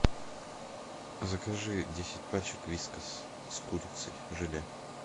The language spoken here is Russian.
закажи десять пачек вискас с курицей желе